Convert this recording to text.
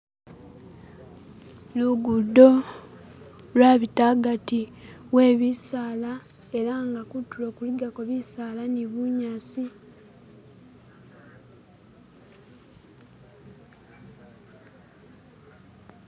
lugudo lwabita agati webisaala ela nga kutulo kuligako bisaala ni bunyasi